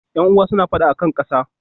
Yan'uwan suna fada a kan ƙasa.